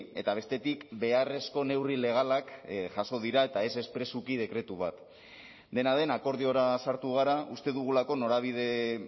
eta bestetik beharrezko neurri legalak jaso dira eta ez espresuki dekretu bat dena den akordiora sartu gara uste dugulako norabide